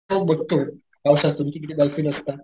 तो बघतो पावसातुन कि तिथं डॉल्फिन असतात.